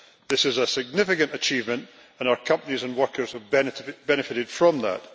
This is a significant achievement and our companies and workers have benefited from that.